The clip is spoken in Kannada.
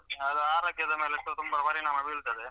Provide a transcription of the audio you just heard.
ಅದು ಆರೋಗ್ಯದ ಮೇಲೆಸ ತುಂಬ ಪರಿಣಾಮ ಬೀಳ್ತದೆ.